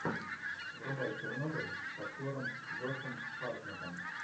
врубай чернобыль с актером джошем хартнеттом